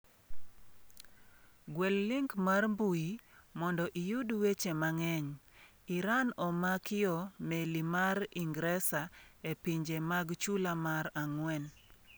Gwel link mar mbui mondo iyud weche mang'eny: Iran omakio meli mar Ingresa e pinje mag Chula mar ang'wen.